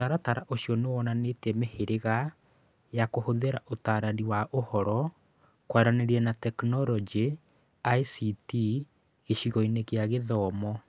Mũtaratara ũcio nĩ wonanĩtie mĩhĩrĩga ya kũhũthĩra Ũtaarani wa Ũhoro, Kwaranĩria na Teknoroji (ICT) gĩcigo-inĩ kĩa gĩthomo.